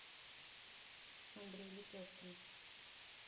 андрей лепешкин